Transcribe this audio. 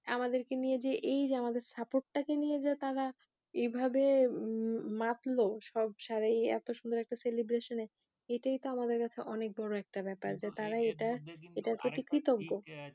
আমাদেরকে নিয়ে যে এই যে আমাদের support টাকে নিয়ে যে তারা এভাবে মাতলো সব এই এত সুন্দর একটা celebration এ এটাই তো আমাদের কাছে অনেক বড়ো একটা ব্যাপার যে তারা এটা এটা হচ্ছে কৃতজ্ঞ